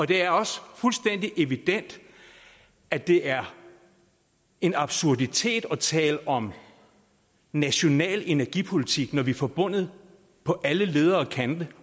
det er også fuldstændig evident at det er en absurditet at tale om national energipolitik når vi er forbundet på alle leder og kanter